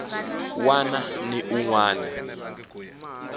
wana ni un wana a